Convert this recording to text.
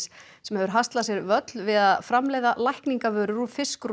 sem hefur haslað sér völl við að framleiða lækningavörur úr